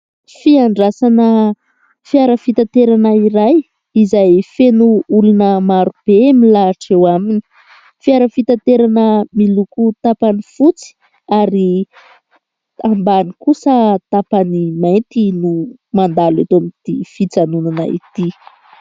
Fiandrasana fiara fitaterana iray, izay feno olona maro be milahatra eo aminy. Fiara fitaterana miloko tapany fotsy, ary ambany kosa tapany mainty, no mandalo eto amin'ity fijanonana ity.